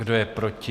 Kdo je proti?